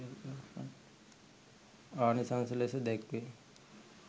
ආනිසංසය ලෙස දැක්වේ.